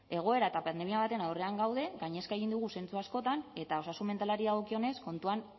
egoera eta pandemia baten aurrean gaude gainezka egin digu zentzu askotan eta osasun mentalari dagokionez kontuan